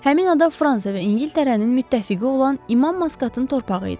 Həmin ada Fransa və İngiltərənin müttəfiqi olan İmam Maskatın torpağı idi.